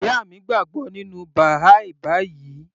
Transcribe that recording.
Ìyá mi gbàgbọ́ nínú Baha'i báyìí